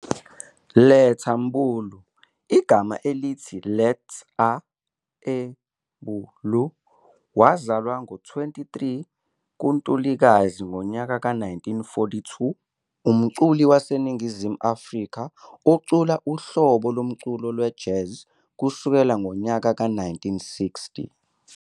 Letta Mbulu, igama elithi "let-ah" "em-boo-loo", wazalwa ngo 23 ka Ntulikazi 1942, umculi wase Ningizimu Afrika ocula uhlobo lomculo we-Jazz kusukela ngonyaka we-1960.